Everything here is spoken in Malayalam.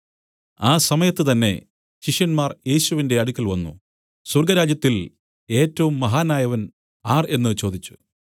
ആ സമയത്തുതന്നെ ശിഷ്യന്മാർ യേശുവിന്റെ അടുക്കൽ വന്നു സ്വർഗ്ഗരാജ്യത്തിൽ ഏറ്റവും മഹാനായവൻ ആർ എന്നു ചോദിച്ചു